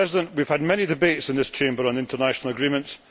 We have had many debates in this Chamber on international agreements.